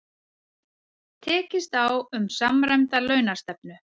Tekist á um samræmda launastefnu